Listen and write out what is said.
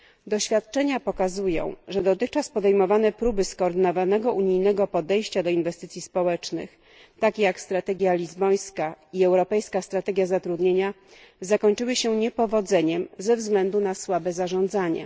Doświadczenia pokazują, że dotychczas podejmowane próby skoordynowanego unijnego podejścia do inwestycji społecznych, takie jak strategia lizbońska i europejska strategia zatrudnienia, zakończyły się niepowodzeniem ze względu na słabe zarządzanie.